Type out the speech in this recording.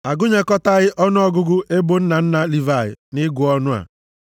A gụnyekọtaghị ọnụọgụgụ ebo nna nna Livayị nʼịgụ ọnụ a,